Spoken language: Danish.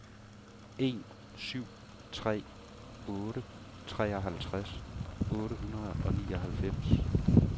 en syv tre otte treoghalvtreds otte hundrede og nioghalvfems